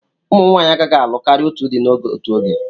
Ụmụ nwanyị agaghị alụ karịa otu di n'otu oge.